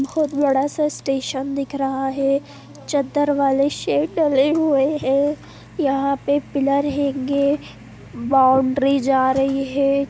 बहोत बड़ा सा स्टेशन दिख रहा है। चद्दर वाले शेड डले हुये है। यहाँ पे पिलर हैंगे । बाउंड्री जा रही है।